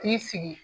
K'i sigi